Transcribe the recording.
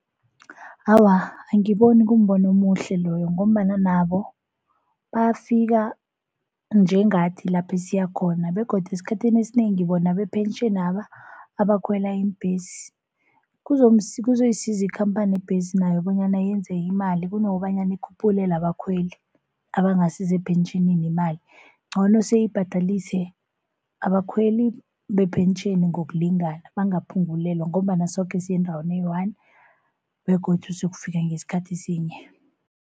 Awa, angiboni kumbono omuhle loyo ngombana nabo bafika njengathi lapha esiya khona begodu esikhathini esinengi bona bepentjheni laba abakhwela iimbhesi. Kuzoyisiza ikhamphani yebhesi nayo bonyana yenze imali kunokobanyana ikhuphulele abakhweli abangasi sepentjhinini imali. Ncono sibhadalise abakhweli bephentjheni ngokulingana bangaphungulelwa, ngombana soke siyendaweni eyi-one begodu sokufika ngesikhathi sinye.